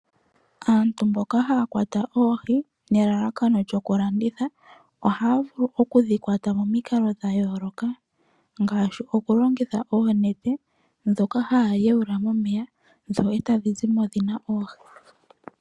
Aantu mboka haya kwata oohi nelalakano lyoku dhi landitha, ohaya vulu oku dhi kwata momikalo dha yooloka ngaashi okulongitha oonete ndhoka haya wayula momeya e ta dhi zi mo dhi na oohi.